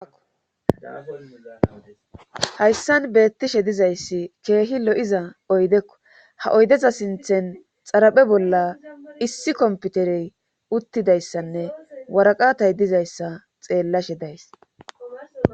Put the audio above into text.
hayssan beettishe dizayssi keehi lo7iza oydekko ha oydeza sinthen xaraphe bolla issi komputerey uttidayssanne waraqatay dizayssa xeellashe days